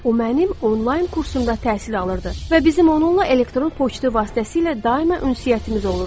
O mənim onlayn kursumda təhsil alırdı və bizim onunla elektron poçtu vasitəsilə daima ünsiyyətimiz olurdu.